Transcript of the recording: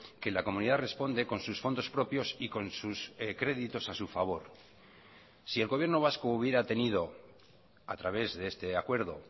que la comunidad responde con sus fondos propios y con sus créditos a su favor si el gobierno vasco hubiera tenido a través de este acuerdo